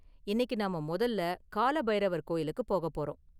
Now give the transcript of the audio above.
இன்னைக்கு நாம முதல்ல கால பைரவர் கோயிலுக்கு போக போறோம்.